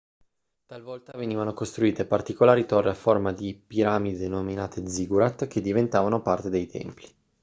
talvolta venivano costruite particolari torri a forma di piramide denominate ziggurat che diventavano parte dei templi